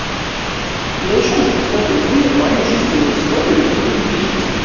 я ещё раз повторю вы мою жизненную историю не перепишете